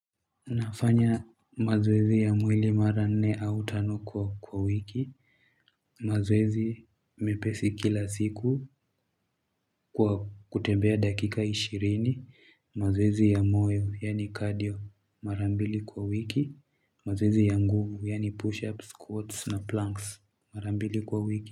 Nafanya mazoezi ya mwili mara nne au tano kwa wiki. Mazoezi mepesi kila siku kwa kutembea dakika ishirini. Mazoezi ya moyo yani cardio mara mbili kwa wiki. Mazoezi ya nguvu yani push-ups, squats na planks mara mbili kwa wiki.